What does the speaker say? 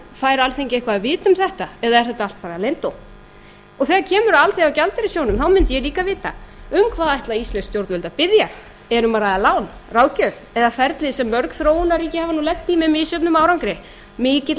fær alþingi eitthvað að vita um þetta eða er þetta allt saman leyndó og þegar kemur að alþjóðagjaldeyrissjóðnum þá mundi ég líka vilja vita um hvað ætla íslensk stjórnvöld að spyrja er um að ræða lán ráðgjöf eða ferli sem mörg þróunarríki hafa lent í með misjöfnum árangri mikilli